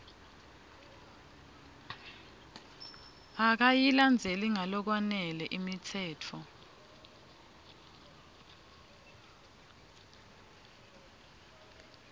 akayilandzeli ngalokwanele imitsetfo